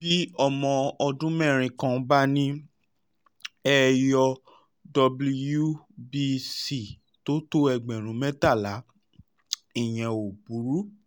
bí ọmọ ọdún mẹ́rin kan bá ní ẹyọ wbc tó tó ẹgbẹ̀rún mẹ́tàlá ìyẹn ò burú